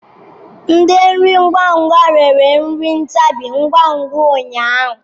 Ndi nri ngwa ngwa rere nri ntabi ngwa ngwa ụnyaahụ.